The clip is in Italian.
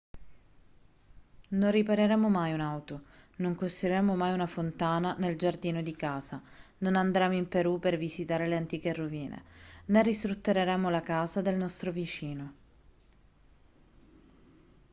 non ripareremo mai un'auto non costruiremo mai una fontana nel giardino di casa non andremo in perù per visitare le antiche rovine né ristruttureremo la casa del nostro vicino